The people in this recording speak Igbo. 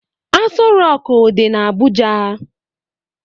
Asọ roku dị n'Abuja